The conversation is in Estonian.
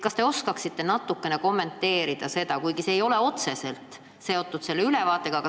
Kas te oskate seda natukene kommenteerida, kuigi see ei ole otseselt selle ülevaatega seotud?